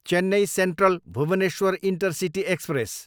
Chennai central, Bhubaneswar intercity express